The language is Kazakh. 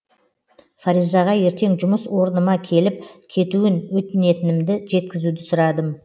фаризаға ертең жұмыс орыныма келіп кетуін өтінетінімді жеткізуді сұрадым